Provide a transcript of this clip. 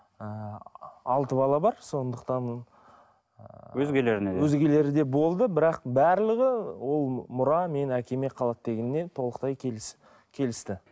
ы алты бала бар сондықтан ы өзгелеріне өзгелері де болды бірақ барлығы ол мұра менің әкеме қалады дегеніне толықтай келісті